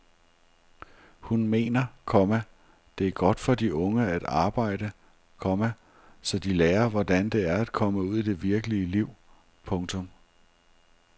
Hun mener, komma det er godt for de unge at arbejde, komma så de lærer hvordan det er at komme ud i det virkelige liv. punktum